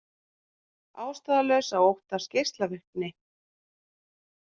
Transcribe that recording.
Ástæðulaust að óttast geislavirkni